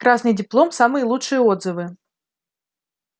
красный диплом самые лучшие отзывы